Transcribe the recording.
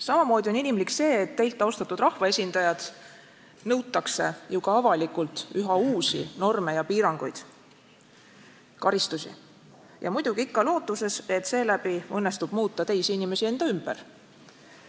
Samamoodi on inimlik see, et teilt, austatud rahvaesindajad, nõutakse ju ka avalikult üha uusi norme ja piiranguid, karistusi – muidugi ikka lootuses, et seeläbi õnnestub muuta teisi inimesi enda ümber.